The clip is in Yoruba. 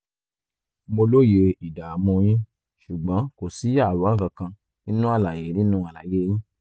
mo lóye ìdààmú yín ṣùgbọ́n kò sí àwòrán kankan nínú àlàyé nínú àlàyé yín